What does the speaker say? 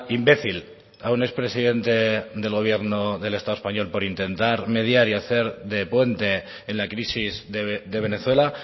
imbécil a un expresidente del gobierno del estado español por intentar mediar y hacer de puente en la crisis de venezuela